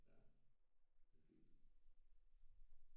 Ja det fint